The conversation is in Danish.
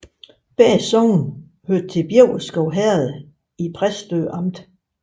Begge sogne hørte til Bjæverskov Herred i Præstø Amt